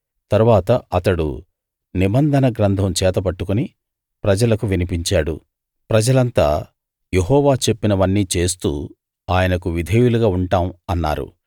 తరువాత అతడు నిబంధన గ్రంథం చేతబట్టుకుని ప్రజలకు వినిపించాడు ప్రజలంతా యెహోవా చెప్పినవన్నీ చేస్తూ ఆయనకు విధేయులుగా ఉంటాం అన్నారు